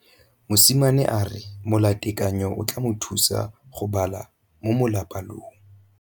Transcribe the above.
Mosimane a re molatekanyô o tla mo thusa go bala mo molapalong.